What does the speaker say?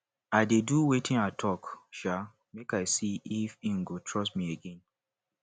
i dey do wetin i tok um make i see if im go trust me again